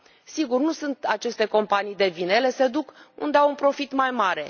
Sigur, nu sunt aceste companii de vină, ele se duc unde au un profit mai mare.